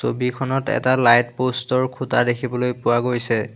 ছবিখনত এটা light post ৰ খুঁটা দেখিবলৈ পোৱা গৈছে।